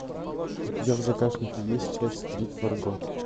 у тебя в загашнике есть часть три фарго